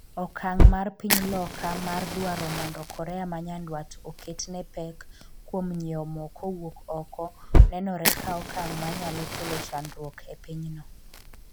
okang' mar piny Loka mar dwaro mondo Korea ma nyandwat oketne pek kuom nyiewo mo kowuok oko nenore ka okang' manyalo kelo chandruok e pinyno